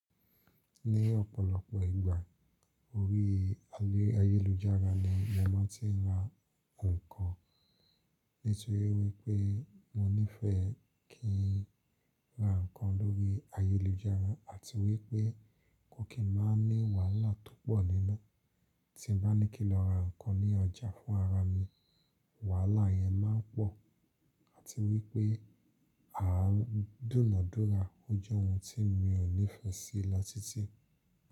Ní ọ̀pọ̀lọpọ̀ ìgbà orí ayélujára ni mo máa ti ń ra nǹkan. Nítorí wípé mo nífẹ̀ẹ́ kí n ra nǹkan lórí ayélujára àti wípé kò kí máa ní wàhálà tó pọ̀ nínu. Tí mo bá ní kí n lọ ra nǹkan ní ọjà fún ara mi, wàhálà yẹn máa pọ̀. Àti wípé àádùnádùnra, ó jẹ́ ohun tí mi ò nífẹ̀ẹ́ sí lọ títí.